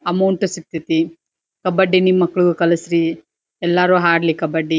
Amount ಸಿಕ್ತತಿ ಕಬ್ಬಡಿ ನಿಮ್ಮ ಮಕ್ಕಳ್ನು ಕಲ್ಸರಿ ಎಲ್ಲಾರು ಆಡ್ಲಿ ಕಬ್ಬಡಿ.